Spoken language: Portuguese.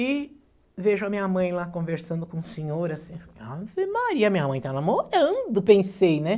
E vejo a minha mãe lá conversando com o senhor, assim, Ave Maria, minha mãe está namorando, pensei, né?